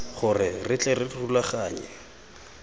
gore re tle re rulaganye